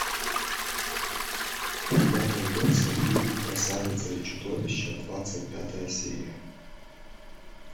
у тебя найдется фильм красавица и чудовище двадцать пятая серия